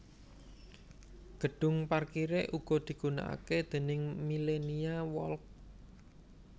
Gedhung parkiré uga digunakake déning Millenia Walk